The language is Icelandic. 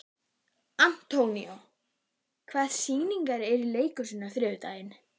Antonio, hvaða sýningar eru í leikhúsinu á þriðjudaginn?